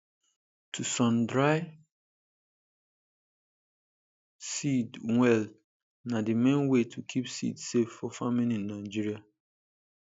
to sundry seed well na the main way to keep seed safe for farming in nigeria